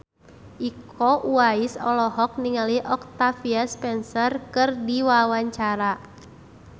Iko Uwais olohok ningali Octavia Spencer keur diwawancara